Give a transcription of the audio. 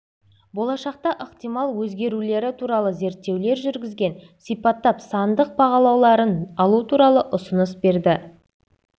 болашақта ықтимал өзгерулері туралы зерттеулер жүргізген сипаттап сандық бағалауларын алу туралы ұсыныс берді